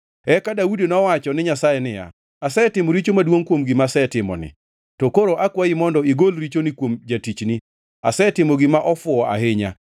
Eka Daudi nowacho ni Nyasaye niya, “Asetimo richo maduongʼ kuom gima asetimoni. To koro akwayi mondo igol richoni kuom jatichni. Asetimo gima ofuwo ahinya.”